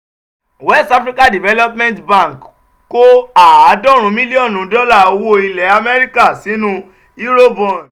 west african development bank kó àádọ́rin mílíọ̀nù dọ́là owó ilẹ̀ amẹ́ríkà sínú eurobond